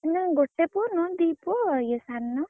ନା ଗୋଟେ ପୁଅ ନୁହ ଦି ପୁଅ ୟେ ସାନ।